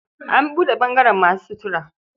An buɗe ɓangaren masu sutura.